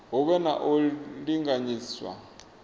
hu vhe na u linganyiswa